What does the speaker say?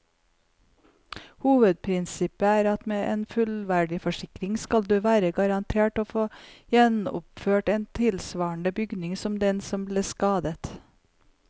Hovedprinsippet er at med en fullverdiforsikring skal du være garantert å få gjenoppført en tilsvarende bygning som den som ble skadet.